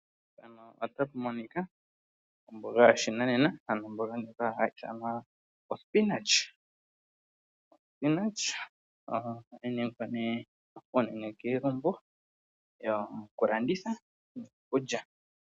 Omboga yoshinanena oyi holike uunene kiilumbu nanafaalama mboka haya munu ombaga ndjika ohaye yilanditha kaantu opo yamonemo iimaliwa yawo.